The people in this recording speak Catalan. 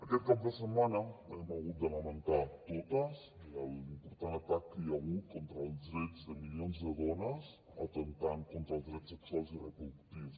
aquest cap de setmana hem hagut de lamentar totes l’important atac que hi ha hagut contra els drets de milions de dones atemptant contra els drets sexuals i reproductius